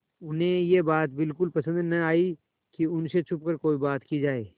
उन्हें यह बात बिल्कुल पसन्द न आई कि उन से छुपकर कोई बात की जाए